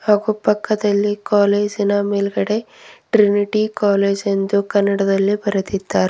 ಹಾಗು ಪಕ್ಕದಲ್ಲಿ ಕಾಲೇಜಿನ ಮೇಲ್ಗಡೆ ಟ್ರಿನಿಟಿ ಕಾಲೇಜ್ ಎಂದು ಕನ್ನಡದಲ್ಲಿ ಬರೆದಿದ್ದಾರೆ.